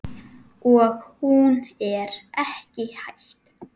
Og hún er ekki hætt.